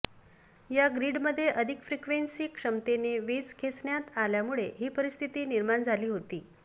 या ग्रिडमध्ये अधिक फ्रीक्वेन्सी क्षमतेने वीज खेचण्यात आल्यामुळे ही परिस्थिती निर्माण झाली होती